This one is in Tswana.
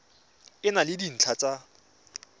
e na le dintlha tsa